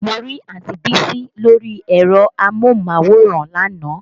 Mo rí Àǹti Bísí lórí ẹ̀rọ amóhùnmáwòrán lánàá